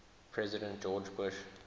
president george bush